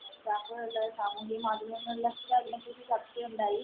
കളില്, സാമൂഹിക മാധ്യമങ്ങളില്‍ ഒക്കെ അതിനെ കുറിച്ച് ചര്‍ച്ചയുണ്ടായി.